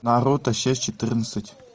наруто шесть четырнадцать